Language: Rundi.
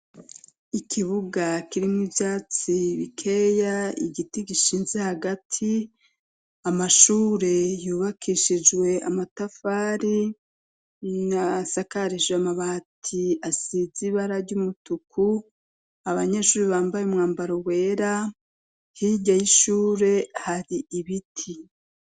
Ikibuga kirimwo ivyatsi bikeya, igiti gishinze hagati, amashure yubakishijwe amatafari, asakarije amabati asize ibara ry'umutuku, abanyeshuri bambaye umwambaro wera, hirya y'ishure hari ibiti.